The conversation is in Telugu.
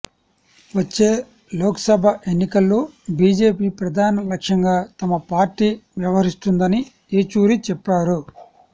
వచ్చే లోక్సభ ఎన్నికల్లో బీజేపీ ప్రధాన లక్ష్యంగా తమ పార్టీ వ్యవహరిస్తుందని ఏచూరి చెప్పారు